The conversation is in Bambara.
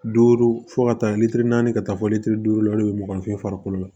Duuru fo ka taa lili na ka taa fɔ litiri duuru la hali bi mugan fe yen farikolo la